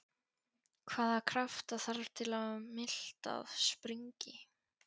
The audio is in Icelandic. Hvaða krafta þarf til að miltað springi?